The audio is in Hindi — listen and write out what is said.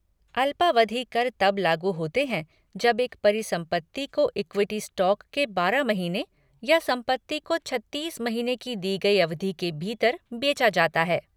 अल्पावधि कर तब लागू होते हैं जब एक परिसंपत्ति को इक्विटी स्टॉक के बारह महीने या संपत्ति को छत्तीस महीने की दी गई अवधि के भीतर बेचा जाता है।